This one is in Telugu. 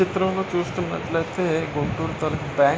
ఈ చిత్రం లో చూస్తునట్లయితే గుంటూరు తాలూకా బ్యాంక్ --